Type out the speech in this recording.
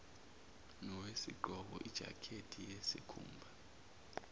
nowesigqoko ijakhethi yesikhumba